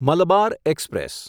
Malabar express